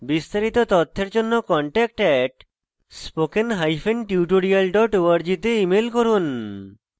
বিস্তারিত তথ্যের জন্য contact @spokentutorial org তে ইমেল করুন